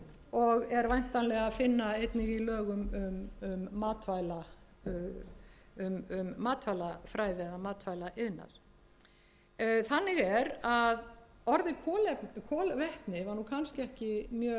og er væntanlega að finna einnig í lögum um matvælafræði eða matvælaiðnað þannig er að orðið kolvetni var nú kannski ekki mjög þekkt